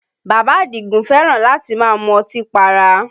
Bàbá Àdìgún fẹ́ràn láti máa mú ọtí para